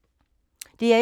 DR1